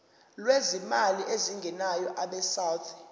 lwezimali ezingenayo abesouth